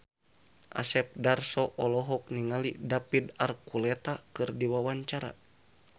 Asep Darso olohok ningali David Archuletta keur diwawancara